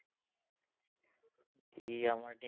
ই আমাৰ